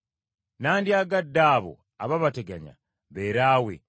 Nnandyagadde abo abaabateganya beeraawe.